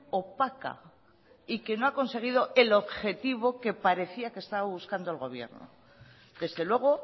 opaca y que no ha conseguido el objetivo que parecía que estaba buscando el gobierno desde luego